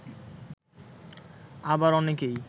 আবার অনেকেই